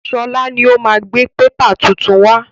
Sọlá ni ó máa gbé pépà tuntun wá.